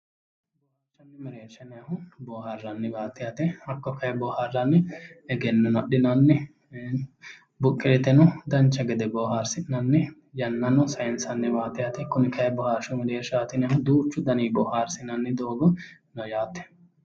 Boohaarshu mereersha yinayhu boohaarranniwaati yaate hakko kayi boohaarranni egennono adhinanni buqqeeteno dancha gede boohaarsi'nanni yannano sayinsanniwaati yaate kuni kayi boohaarshu mereershaati yinayhu duuchu daninni boohaarsinanni doogo no yaate